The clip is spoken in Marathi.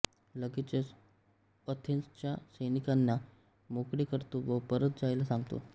लगेचच अथेन्सच्या सैनिकांना मोकळे करतो व परत जायला सांगतो